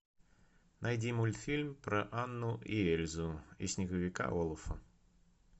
найди мультфильм про анну и эльзу и снеговика олафа